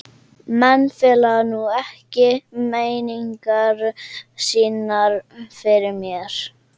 Menn fela nú ekki meiningar sínar fyrir mér.